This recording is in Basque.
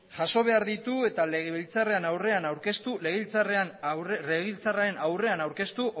jaso behar ditu eta legebiltzarraren aurrean aurkeztu